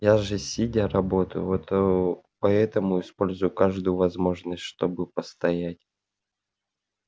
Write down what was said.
я же сидя работаю вот ээ поэтому использую каждую возможность чтобы постоять